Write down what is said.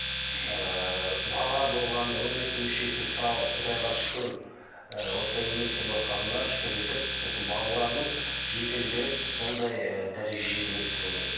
ыыы бала болғаны он екі мүшесі сау құдайға шүкір ыыы осылай өмір сүріватқанына шүкір етіп осы балаларын жетілдіріп сондай ыыы дәрежеге жету керек деп ойлаймын